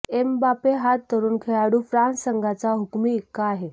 Mbappe हा तरुण खेळाडू फ्रान्स संघाचा हुकूमी एक्का आहे